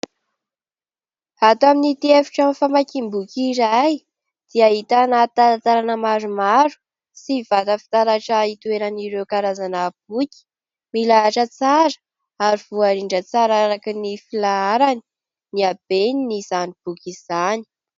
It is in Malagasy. Ato amin'itỳ efi-trano famakiam-boky iray dia ahitana talantalana maromaro sy vata fitaratra itoeran'ireo karazana boky. Milahatra tsara ary voarindra tsara araka ny filaharany, ny habeny izany boky izany.